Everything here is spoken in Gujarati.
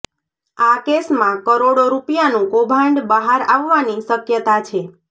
આ કેસમાં કરોડો રૂપિયાનું કૌભાંડ બહાર આવવાની શક્યતા છે